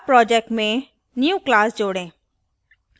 add project में new class जोड़ें